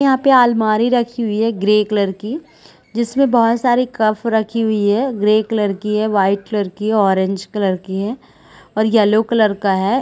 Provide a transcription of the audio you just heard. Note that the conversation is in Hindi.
यहाँ पे अलमारी रखी हुई है ग्रे कलर की जिसमें बहोत सारे कफ़ रखी हुई है ग्रे कलर की है वाइट कलर की है ऑरेंज कलर की है और येलो कलर का हैं ।